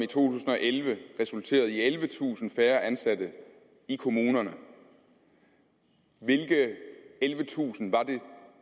tusind og elleve resulterede i ellevetusind færre ansatte i kommunerne hvilke ellevetusind var det